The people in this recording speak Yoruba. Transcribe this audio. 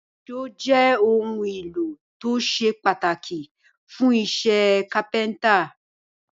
Èṣó jé òun ìlò tó ṣe pàtàkì fún iṣé kápẹ́ńtà